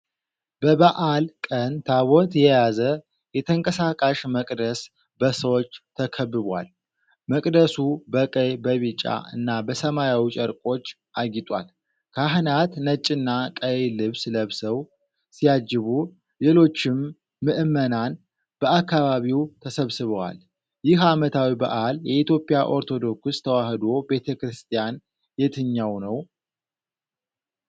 በበዓል ቀን ታቦት የያዘ የተንቀሳቃሽ መቅደስ በሰዎች ተከብቧል። መቅደሱ በቀይ፣ በቢጫ እና በሰማያዊ ጨርቆች አጊጧል። ካህናት ነጭና ቀይ ልብስ ለብሰው ሲያጅቡ፣ ሌሎችም ምእመናን በአካባቢው ተሰብስበዋል። ይህ ዓመታዊ በዓል የኢትዮጵያ ኦርቶዶክስ ተዋሕዶ ቤተ ክርስቲያን የትኛው ነው?